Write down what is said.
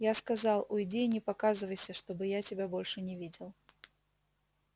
я сказал уйди и не показывайся чтобы я тебя больше не видел